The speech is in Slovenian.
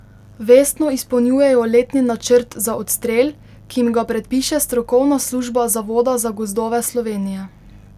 Vestno izpolnjujejo letni načrt za odstrel, ki jim ga predpiše strokovna služba Zavoda za gozdove Slovenije.